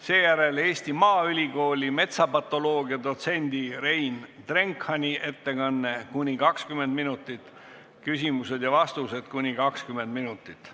Sellele järgneb Eesti Maaülikooli metsapatoloogia dotsendi Rein Drenkhani ettekanne kuni 20 minutit, lisaks küsimused ja vastused kuni 20 minutit.